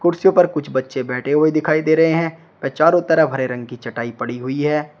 कुर्सियों पर कुछ बच्चे बैठे हुए दिखाई दे रहे हैं वे चारों तरफ हरे रंग की चटाई पड़ी हुई है।